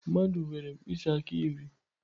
Mmadụ nwere mkpịsị aka iri.